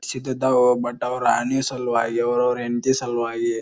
ಸಿದ್ದ್ ಇದ್ದವು ಬಟ್ ಅವ್ರ ಆಲಿ ಸಲುವಾಲಿ ಅವ್ರವ್ರ ಹೆಂಡ್ತಿ ಸಲುವಾಗಿ --